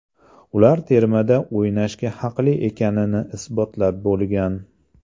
Ular termada o‘ynashga haqli ekanini isbotlab bo‘lgan.